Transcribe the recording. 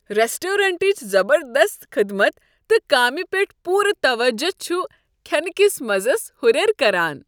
رؠسٹرونٹٕچ زبردست خدمت تہٕ کامِہ پیٹھ پورٕ توجہ چھ کھینہٕ کِس مزس اہُریر کران۔